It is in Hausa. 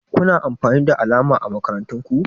Kuna amfani da alama ã makarantan ku?